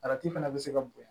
fana bɛ se ka bonya